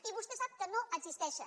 i vostè sap que no existeixen